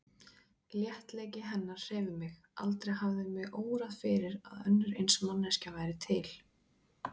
Léttleiki hennar hreif mig, aldrei hafði mig órað fyrir að önnur eins manneskja væri til.